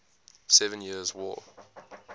seven years war